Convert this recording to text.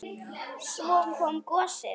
Svo kom gosið!